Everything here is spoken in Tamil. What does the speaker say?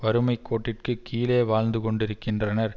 வறுமை கோட்டிற்கு கீழே வாழ்ந்து கொண்டிருக்கின்றனர்